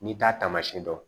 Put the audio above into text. N'i t'a tamasiɲɛ dɔn